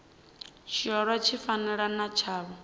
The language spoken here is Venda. tshiolwa tshi fanaho na tshavho